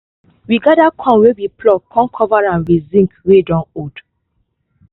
we gather corn wey we pluck con cover am with zinc wey don old